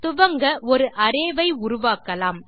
துவங்க ஒரு அரே வை உருவாக்கலாம்